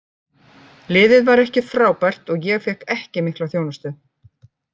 Liðið var ekki frábært og ég fékk ekki mikla þjónustu.